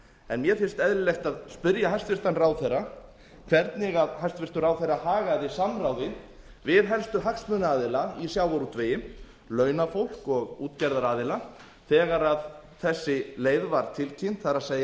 en mér finnst eðlilegt að spyrja hæstvirtan ráðherra hvernig hæstvirtur ráðherra hagaði samráði við helstu hagsmunaaðila í sjávarútvegi launafólk og útgerðaraðila þegar þessi leið var tilkynnt það